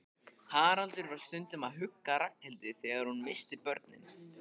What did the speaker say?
Haraldur var stundum að hugga Ragnhildi þegar hún missti börnin.